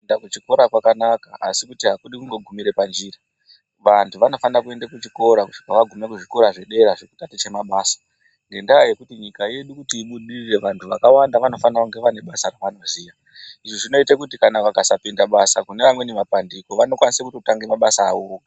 Kuenda kuchikora kwakanaka asi kuti akudi kungogumira munjira vanthu vanofana kuende kuzvikora kusvika vagume kuzvikora zvedera zvekutaticha mabasa ngendaa yekuti nyika yedu kuti ibudirire vanthu vakawanda vanofanira kunge vane basa ravanoziya izvi zvinoite kuti kana vakasapinda basa kune amweni mapandiko vanokwanisa kutotange mabasa avo vega.